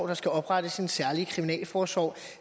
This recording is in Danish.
der skal oprettes en særlig kriminalforsorg